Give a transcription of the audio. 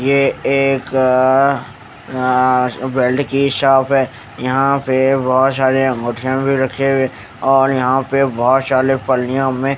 ये एक अअअअ आआआ बेल्ड की शॉप है यहा पे बहुत सारी अंगुठियां भी रखी हुई है और यहा पे बहुत सारे पलीयाओ में--